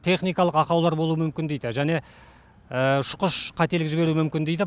техникалық ақаулар болуы мүмкін дейді және ұшқыш қателік жіберуі мүмкін дейді